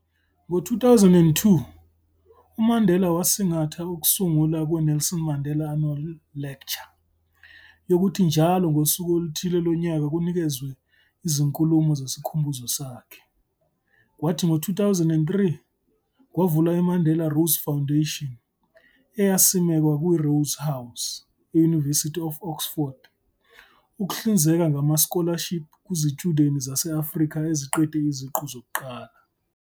Ngo-2002, uMandela wasingatha ukusungula kwe-Nelson Mandela Annual Lecture yokuthi njalo ngosuku oluthile lonyaka kunikezwe izinkulumo zesikhumbuzo sakhe, kwathi ngo 2003, kwavula i-Mandela Rhodes Foundation eyasimekwa kwi-Rhodes House, e-University of Oxford, ukuhlinzeka ngama-scholarship kwizitshudeni zase-Afrika eziqede iziqu zokuqala.